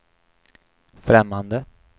främmande